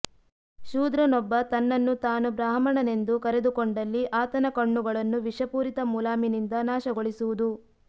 ಶೂದ್ರನೊಬ್ಬ ತನ್ನನ್ನು ತಾನು ಬ್ರಾಹ್ಮಣನೆಂದು ಕರೆದುಕೊಂಡಲ್ಲಿ ಆತನ ಕಣ್ಣುಗಳನ್ನು ವಿಷಪೂರಿತ ಮುಲಾಮಿನಿಂದ ನಾಶಗೊಳಿಸುವುದು